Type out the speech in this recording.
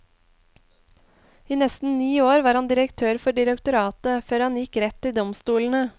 I nesten ni år var han direktør for direktoratet, før han gikk rett til domstolene.